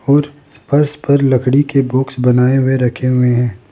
और फर्श पर लकड़ी के बॉक्स बनाए हुए रखे हुए हैं।